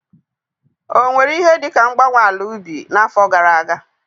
Ọ nwere ihe dị ka mgbanwe ala ubi n'afọ gara aga?